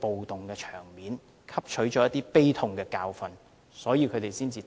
暴動，汲取了一些悲痛的教訓，才會立法。